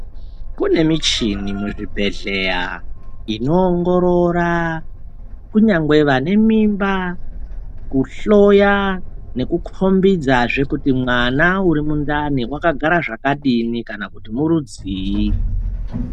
Kune michini muzvibhehleya inoongorora kunyangwe vane mimba kuhloya nekukombidzazve kuti mwana uri mundani wakagara zvakadini kana kuti murudzii.